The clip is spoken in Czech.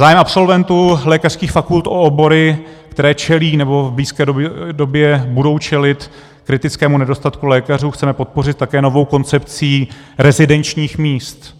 Zájem absolventů lékařských fakult o obory, které čelí nebo v blízké době budou čelit kritickému nedostatku lékařů, chceme podpořit také novou koncepcí rezidenčních míst